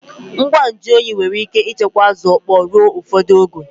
Ngwa nju oyi nwere ike ichekwa Azu okpo ruo ufodu oge